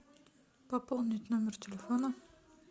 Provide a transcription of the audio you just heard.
пополнить номер телефона